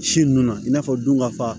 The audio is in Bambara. Si nunnu na i n'a fɔ don ka fa